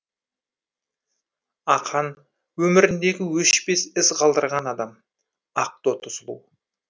ақан өміріндегі өшпес із қалдырған адам ақтоты сұлу